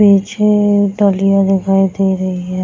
पीछे डालियाँ दिखाई दे रही है।